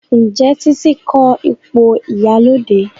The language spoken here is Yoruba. Njé Titi ko ipo ìyálóde?